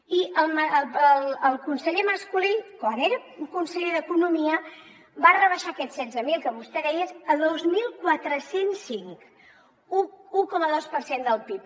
i el conseller mas colell quan era conseller d’economia va rebaixar aquests setze mil que vostè deia a dos mil quatre cents i cinc un coma dos per cent del pib